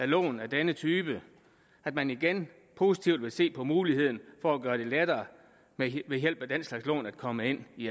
lån af denne type at man igen positivt ser på muligheden for at gøre det lettere ved hjælp af den slags lån at komme ind i